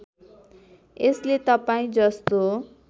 यसले तपाईँ जस्तो